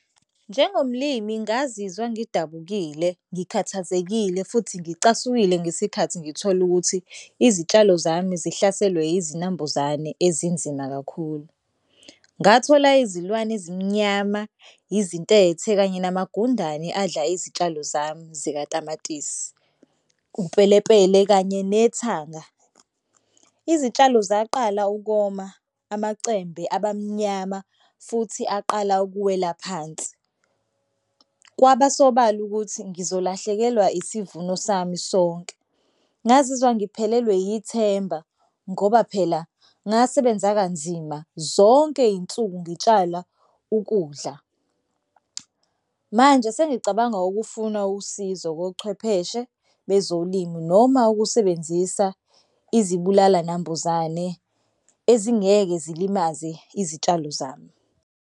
Njengomlimi ngazizwa ngidabukile, ngikhathazekile futhi ngicasukile ngesikhathi ngithola ukuthi izitshalo zami zihlaselwe izinambuzane ezinzima kakhulu. Ngathola izilwane ezimnyama, izintethe kanye namagundane adla izitshalo zami zikatamatisi upelepele kanye nethanga. Izitshalo zaqala ukoma amacembu abamnyama futhi aqala ukuwela phansi. Kwaba sobala ukuthi ngizolahlekelwa isivuno sami sonke. Ngazizwa ngiphelelwe yithemba ngoba phela ngasebenza kanzima zonke iy'nsuku ngitshala ukudla. Manje sengicabanga ukufuna usizo kochwepheshe bezolimi noma ukusebenzisa izibulala nambuzane ezingeke zilimaze izitshalo zami.